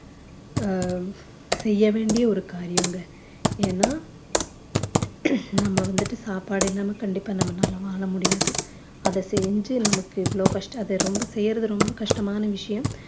அஹ் செய்ய வேண்டிய ஒரு காரியம்ங்க ஏன்னா நம்ம வந்துட்டு சாப்பாடு இல்லாம கண்டிப்பா நம்மளால வாழ முடியாது அதை செஞ்சு நமக்கு இவ்ளோ கஷ்டம் அத ரொம்ப செய்யறது ரொம்ப கஷ்டமான விஷயம்